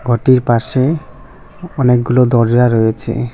ঘরটির পাশে অনেকগুলো দরজা রয়েছে।